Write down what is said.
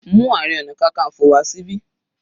Mú Ààrẹ ọna kankanfo wá síbi.